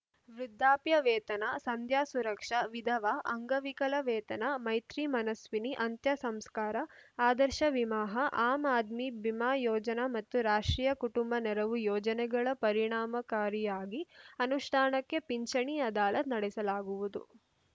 ವೃದ್ಧಾಪ್ಯ ವೇತನ ಸಂಧ್ಯಾ ಸುರಕ್ಷಾ ವಿಧವಾ ಅಂಗವಿಕಲ ವೇತನ ಮೈತ್ರಿ ಮನಸ್ವಿನಿ ಅಂತ್ಯ ಸಂಸ್ಕಾರ ಆದರ್ಶ ವಿಮಾಹ ಆಮ್‌ ಆದ್ಮಿ ಬಿಮಾ ಯೋಜನೆ ಮತ್ತು ರಾಷ್ಟ್ರೀಯ ಕುಟುಂಬ ನೆರವು ಯೋಜನೆಗಳ ಪರಿಣಾಮಕಾರಿಯಾಗಿ ಅನುಷ್ಟಾನಕ್ಕೆ ಪಿಂಚಣಿ ಅದಾಲತ್‌ ನಡೆಸಲಾಗುವುದು